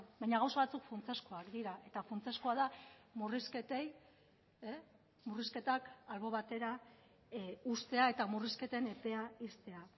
baina gauza batzuk funtsezkoak dira eta funtsezkoa da murrizketei murrizketak albo batera uztea eta murrizketen epea ixtea